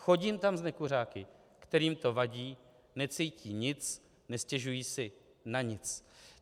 Chodím tam s nekuřáky, kterým to vadí, necítí nic, nestěžují si na nic.